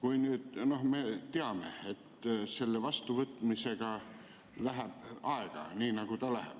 Me teame, et selle vastuvõtmisega läheb aega nii, nagu läheb.